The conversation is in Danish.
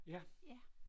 Ja